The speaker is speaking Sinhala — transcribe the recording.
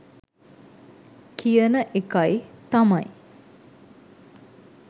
කියන එකයි තමයි.